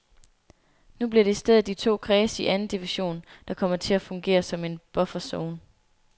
Nu bliver det i stedet de to kredse i anden division, der kommer til at fungere som en bufferzone.